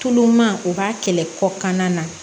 Tulon man o b'a kɛlɛ kɔkan na